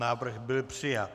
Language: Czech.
Návrh byl přijat.